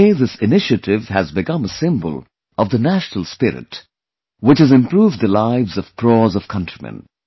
Today this initiative has become a symbol of the national spirit, which has improved the lives of crores of countrymen